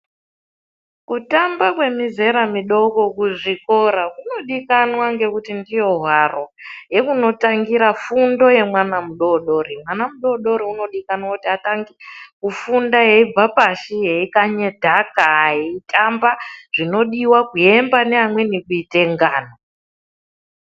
Kutamba kwemizera midoko kuzvikora kunodikanwa ngekuti ndiyo hwaro yekunotangira fundo yemwana mudodori mwana mudodori anodikanwa atange kubva pashi eikanya dhaka eitamba zvinodiwa kuemba nevamweni kuite ngano.